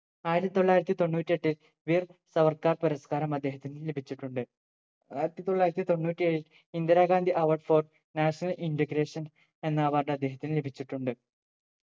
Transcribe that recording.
ആയിരത്തി തൊള്ളായിരത്തി തൊണ്ണൂറ്റി എട്ടിൽ വീർ സവർകാർ പുരസ്‌കാരം അദ്ദേഹത്തിന് ലഭിച്ചിട്ടുണ്ട് ആയിരത്തി തൊള്ളായിരത്തി തൊണ്ണൂറ്റി ഏഴിൽ Indira Gandhi Award for national integration എന്ന Award അദ്ദേഹത്തിന് ലഭിച്ചിട്ടുണ്ട്